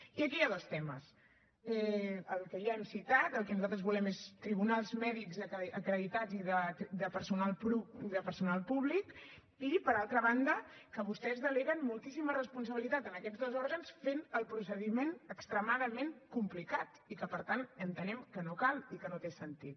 i aquí hi ha dos temes el que ja hem citat el que nosaltres volem és tribunals mèdics acreditats i de personal públic i per altra banda que vostès deleguen moltíssima responsabilitat en aquests dos òrgans i fan el procediment extremadament complicat i que per tant entenem que no cal i que no té sentit